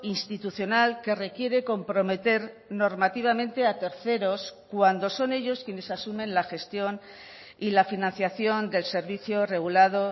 institucional que requiere comprometer normativamente a terceros cuando son ellos quienes asumen la gestión y la financiación del servicio regulado